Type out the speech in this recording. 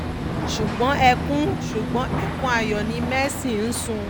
ṣùgbọ́n ẹkún ṣùgbọ́n ẹkún ayọ̀ ni mercy ń sun